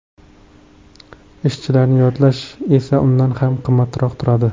Ishchilarni yollash esa undan ham qimmatroq turadi.